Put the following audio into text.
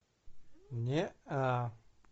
неа